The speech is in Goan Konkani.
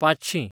पांचशीं